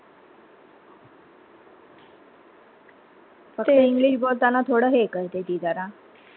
फक्त english बोलताना थोड हे करते ती झरा.